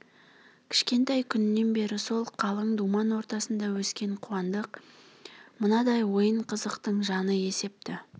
кішкентай күнінен бері сол қалың думан ортасында өскен қуандық мынадай ойын-қызықтың жаны есепті